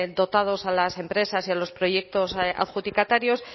dotados a las empresas y a los proyectos adjudicatarios